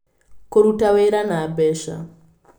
Kũruta wĩra na mbeca: